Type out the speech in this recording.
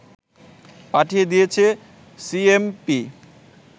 পাঠিয়ে দিয়েছে সিএমপি